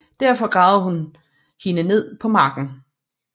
Derefter gravede hun hende ned på marken